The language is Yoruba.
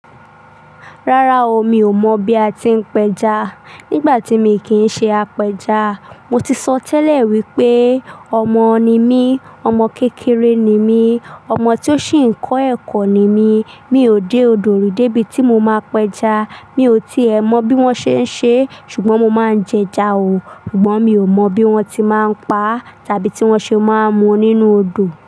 Rárá o, mi ò mọ̀ bí a ti ń péja. Nígbà tí mi kì í ṣe apẹja, mo ti sọ tẹ́lẹ̀ wípé ọmọ ni mí, ọmọ kékeré ni mí, ọmọ tí ó ṣì ń kọ́ ẹ̀kọ́ ni mí. Mi ò dé odò ri débi tí mo máa péja. Mi ò tíì ẹ mọ bí wọ́n ṣe ń ṣe é, ṣùgbọ́n mo máa ń jẹja o, ṣùgbọ́n mi ò mọ bí wọ́n ti máa ń pa à tábí tí wọ́n ṣe máa ń mu nínú odò.